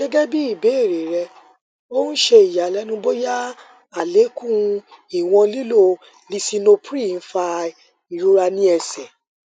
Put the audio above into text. gẹgẹbi ibeere rẹ o n ṣe iyalẹnu boya alekun iwọn lilo lisinopril fa irora ni ẹsẹ